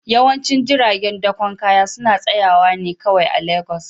Yawancin jiragen dakon kaya suna tsayawa ne kawai a Legas